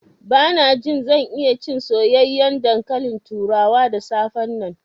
Bana jin zan iya cin soyayyen dankalin turawa da safe nan.